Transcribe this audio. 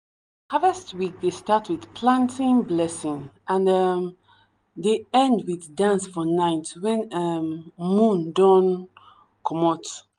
harvest week dey start with planting blessing and um dey end with dance for night when um moon don um komot.